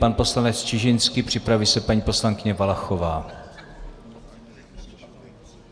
Pan poslanec Čižinský, připraví se paní poslankyně Valachová.